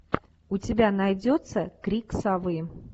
у тебя найдется крик совы